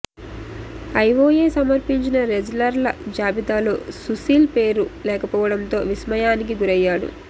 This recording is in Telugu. ఐఒఎ సమర్పించిన రెజ్లర్ల జాబితలో సుశీల్ పేరు లేకపోవడంతో విస్మయా నికి గురయ్యాడు